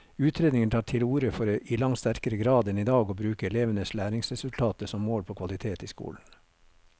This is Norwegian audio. Utredningen tar til orde for i langt sterkere grad enn i dag å bruke elevenes læringsresultater som mål på kvalitet i skolen.